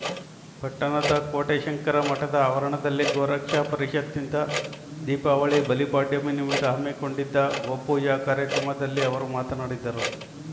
ಪಟ್ಟಣದ ಕೋಟೆ ಶಂಕರ ಮಠದ ಆವರಣದಲ್ಲಿ ಗೋರಕ್ಷಾ ಪರಿಷತ್‌ನಿಂದ ದೀಪಾವಳಿ ಬಲಿಪಾಡ್ಯಮಿ ನಿಮಿತ್ತ ಹಮ್ಮಿಕೊಂಡಿದ್ದ ಗೋಪೂಜಾ ಕಾರ್ಯಕ್ರಮದಲ್ಲಿ ಅವರು ಮಾತನಾಡಿದರು